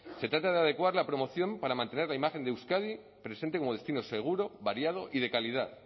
se trata de adecuar la promoción para mantener la imagen de euskadi presente como destino seguro variado y de calidad